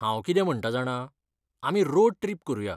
हांव कितें म्हणटा जाणा, आमी रोड ट्रिप करुया.